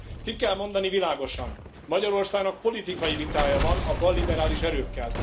Ki kell mondani világosan Magyarországnak politikai vitája van a balliberális erőkkel.